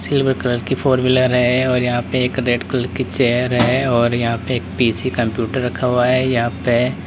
silver colour की four wheeler है और यहां पर एक रेड कलर की चेयर है और यहां पे एक पी_सी कंप्यूटर रखा हुआ है यहां पे --